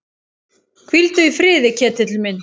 Hvíldu í friði, Ketill minn.